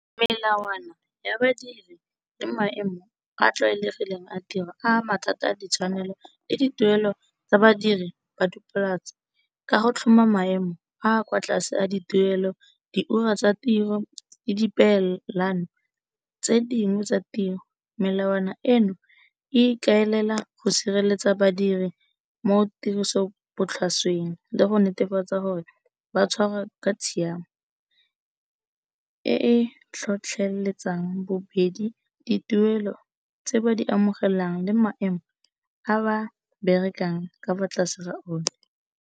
Melawana ya badiri le maemo a a tlwaelegileng a ditiro a mathata a ditshwanelo le di tuelo tsa badiri ba dipolose, ka go tlhoma maemo a kwa tlase a dituelo di ura tsa tiro le di pelane tse dingwe tsa tiro. Melawana eno e ikaelela go sireletsa badiri mo tiriso botlhasweng le go netefatsa gore ba tshwarwa ka tshiamo, e e tlhotlheletsang bobedi dituelo tse ba di amogelang le maemo a ba berekang ka fa tlase ga o na.